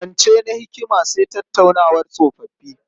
Zance na hikima sa tattaunawar tsofoffi.